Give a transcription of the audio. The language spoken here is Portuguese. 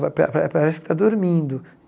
Vai pa pa parece que está dormindo.